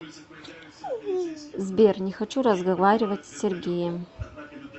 сбер не хочу разговаривать с сергеем